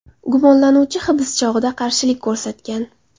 Gumonlanuvchi hibs chog‘ida qarshilik ko‘rsatgan.